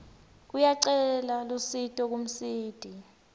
uyacela lusito kumsiti